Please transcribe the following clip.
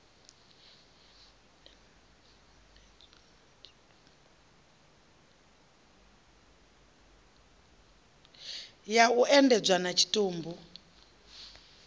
ya u endedzwa ha tshitumbu